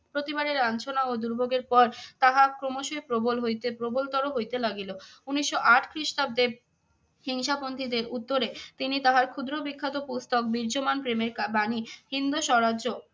প্রতিবারের লাঞ্ছনা ও দুর্ভোগের পর তাহা ক্রমশই প্রবল হইতে প্রবল র হইতে লাগিল। উনিশশো আট খ্রিস্টাব্দে হিংসা পন্থীদের উত্তরে তিনি তাহার ক্ষুদ্র বিখ্যাত পুস্তক বীর্যমান প্রেমের কা~ বাণী হিন্দু স্বরাজ্য